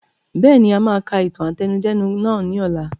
Bẹ́ẹ̀ni, a máa ka ìtàn àtẹnudẹ́nu nàá ni ọ̀la.